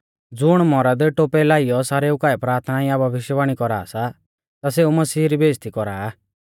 ज़ुण मौरद टोपै लाइयौ सारेऊ काऐ प्राथना या भविष्यवाणी कौरा सा ता सेऊ मसीह री बेइज़्ज़ती कौरा आ